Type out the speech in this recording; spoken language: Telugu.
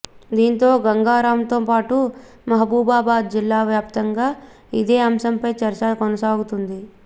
దీంతో గంగారంతో పాటు మహబూబాబాద్ జిల్లా వ్యాప్తంగా ఇదే అంశంపై చర్చ కొనసాగుతుంది